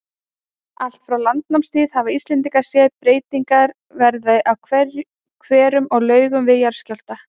Allt frá landnámstíð hafa Íslendingar séð breytingar verða á hverum og laugum við jarðskjálfta.